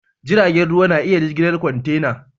Jiragen ruwa na iya jigilar kwantena.